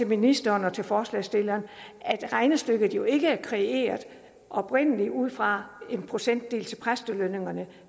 ministeren og til forslagsstilleren at regnestykket jo ikke oprindelig er kreeret ud fra en procentdel til præstelønningerne